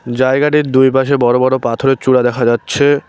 জায়গাটির দুই পাশে বড়ো বড়ো পাথরের চূড়া দেখা যাচ্ছে-এ।